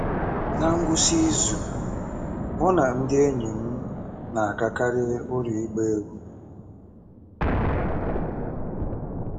Ná ngwụsị izu, mụ na ndị enyi m na-agakarị ụlọ ịgba egwú.